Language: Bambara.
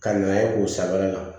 Ka na ye k'u sanfɛla